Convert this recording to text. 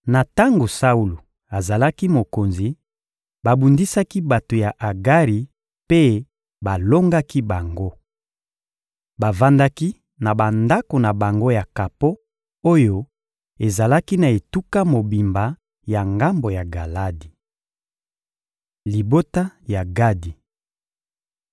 Na tango Saulo azalaki mokonzi, babundisaki bato ya Agari mpe balongaki bango. Bavandaki na bandako na bango ya kapo oyo ezalaki na etuka mobimba ya ngambo ya Galadi. Libota ya Gadi